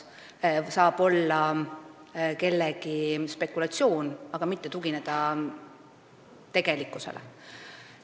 Tegu saab olla kellegi spekulatsiooniga, mitte tegelikkusele tuginemisega.